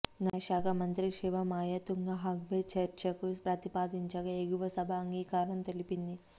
న్యాయశాఖ మంత్రి శివమాయ తుంబహంగ్ఫే చర్చకు ప్రతిపాదించగా ఎగువ సభ అంగీకారం తెలిపింది